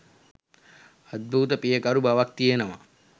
අද්භූත පියකරු බවක් තියෙනවා.